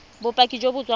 bopaki jo bo tswang go